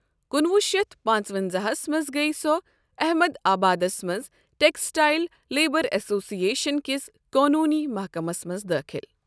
کُنوُہ شیٚتھ پانٛژٕ ونزاہَس منٛز گٔیۍ سۄ احمد آبادس منٛز ٹیکسٹائل لیبر ایسوسیشن کِس قانونی محکَمس منٛز دٲخل۔